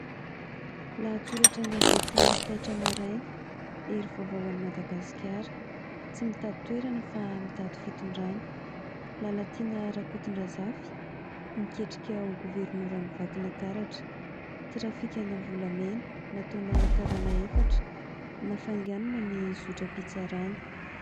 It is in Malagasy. Lahatsoratra an-gazety "TAITRA MARAINA" : "Hery Vaovao hoan'i Madagasikara tsy mitady toerana fa mitady fitondrana", "Lalatiana RAKOTONDRAZAFY miketrika ho governoran i Vakinakaratra", "Trafikana volamena nataona karana efatra nafainganina ny zotram-pitsarana".